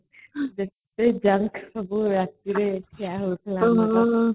ଯେତେ junk ସବୁ ରାତିରେ ଖିଆହଉଥିଲା |